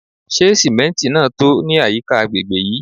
Se simenti naa to ni ayika agbegbe yii?